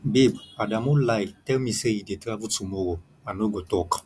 babe adamu lie tell me say he dey travel tomorrow i no go talk